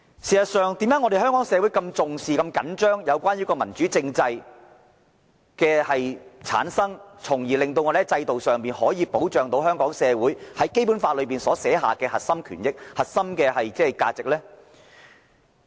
為何香港社會如此重視、着緊民主政制的產生，從而在制度上可保障香港社會享有《基本法》所訂的核心權益和價值呢？